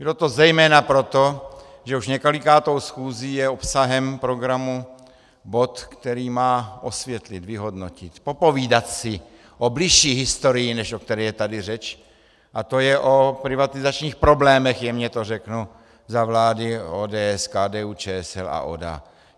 Bylo to zejména proto, že už několikátou schůzi je obsahem programu bod, který má osvětlit, vyhodnotit, popovídat si o bližší historii, než o které je tady řeč, a to je o privatizačních problémech, jemně to řeknu, za vlády ODS, KDU-ČSL a ODA.